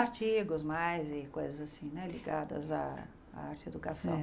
Artigos, mais coisas assim né, ligadas à arte e educação.